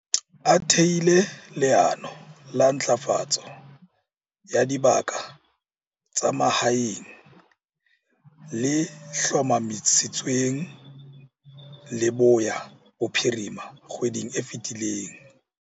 A thehile leano la Ntlafatso ya Dibaka tsa Mahaeng, le hlomamisitsweng Leboya Bophirima kgweding e fetileng.